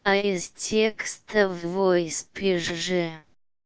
а с текстом твой спишь же